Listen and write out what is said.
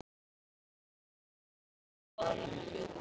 Boði: Hvað ætlarðu að gefa honum?